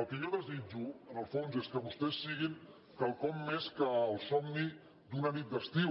el que jo desitjo en el fons és que vostès siguin quelcom més que el somni d’una nit d’estiu